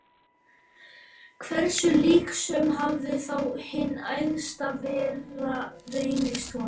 Hversu líknsöm hafði þá hin Æðsta Vera reynst honum!